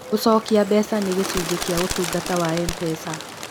Gũcokia mbeca nĩ gĩcunjĩ kĩa ũtungata wa M-pesa.